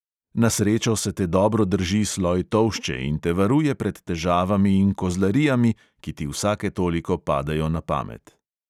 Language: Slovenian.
Na srečo se te dobro drži sloj tolšče in te varuje pred težavami in kozlarijami, ki ti vsake toliko padejo na pamet.